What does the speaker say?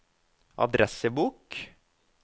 adressebok